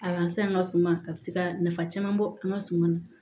A fɛn an ka suma a bɛ se ka nafa caman bɔ an ka suman na